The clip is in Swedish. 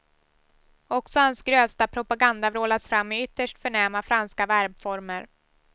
Också hans grövsta propaganda vrålas fram i ytterst förnäma franska verbformer.